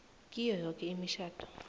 kiyo yoke imitjhado